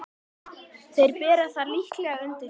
Þeir bera það líklega undir þig.